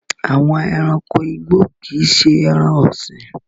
Àwọn ẹranko igbó kì í ṣé ẹran-ọ̀sìn.